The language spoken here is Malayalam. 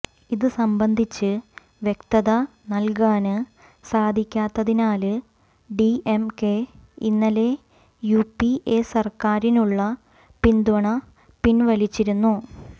ഇത് സംബന്ധിച്ച് വ്യക്തത നല്കാന് സാധിക്കാത്തതിനാല് ഡിഎംകെ ഇന്നലെ യുപിഎ സര്ക്കാരിനുള്ള പിന്തുണ പിന്വലിച്ചിരുന്നു